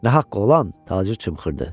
Nə haqqı olan Tacir çımxırdı.